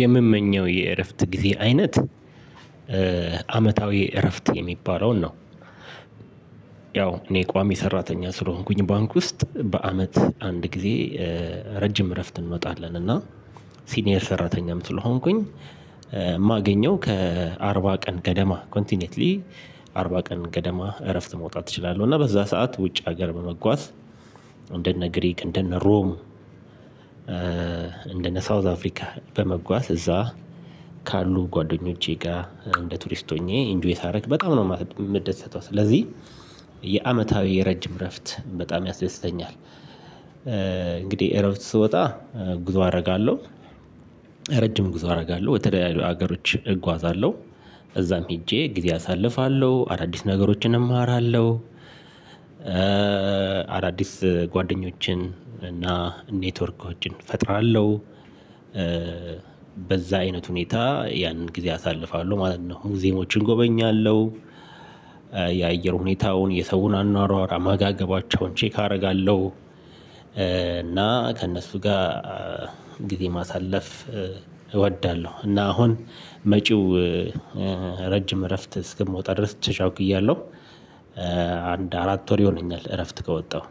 የምመኘው የእረፍት ጊዜ አይነት አመታዊ እረፍት የሚባለውን ነው። ያው እኔ ቋሚ ሰራተኛ ስለሆንኩኝ ባንክ ውስጥ በአመት አንድ ጊዜ ረጅም እረፍት እንወጣለን። እና ሲኒየር ሰራተኛም ስለሆንኩኝ የማገኘው ከአርባ ቀን ገደማ ኮንቲኔትሊ አርባ ቀን ገደማ እረፍት መውጣት እችላለሁ። እና በዛ ሰዓት ውጭ ሀገር በመጓዝ እንደነ ግሪክ እንደነ ሮም። እንደነ ሳውዝ አፍሪካ በመጓዝ እዛ ካሉ ጓደኞቼ ጋር እንደ ቱሪስት ሆኜ ኢንጆይ ሳረግ በጣም ነው የምደሰተው። ስለዚህ የአመታዊ የረጅም እረፍት በጣም ያስደስተኛል። እንግዲህ እረፍት ስወጣ ጉዞ አደርጋለሁ። ረጅም ጉዞ አደርጋለሁ ወደተለያዩ ሀገሮች እጓዛለሁ እዛም ሄጀ ጊዜ አሳልፋለሁ አዳዲስ ነገሮችን እማራለሁ። አዳዲስ ጓደኞችን እና ኔትወርኮችን እፈጥራለሁ። በዛ አይነት ሁኔታ ያንን ጊዜ አሳልፋለሁ ማለት ነው። ሙዜየሞችን እጎበኛለሁ። የአየር ሁኔታውን የሰውን አኗኗር አመጋገባቸውን ቼክ አደርጋለሁ። እና ከእነሱ ጋር ጊዜ ማሳለፍ እወዳለሁ። እና አሁን መጪው ረጅም እረፍት እስክምወጣ ድረስ ተቻኩያለሁ። አንድ አራት ወር ይሆነኛል እረፍት ከወጣሁ።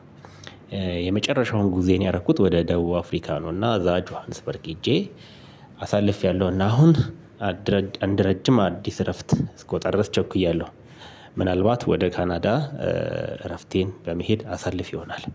የመጨረሻውን ጉዞየን ያደረኩት ወደ ደቡብ አፍሪካ ነው። እና እዛ ጅዋንስፐርግ ሄጀ አሳልፌያለሁ። እና አሁን አንድ ረጅም አዲስ እረፍት እስክወጣ ድረስ ቸኩያለሁ። ምናልባት ወደ ካናዳ እረፍቴን በመሄድ አሳልፍ ይሆናል።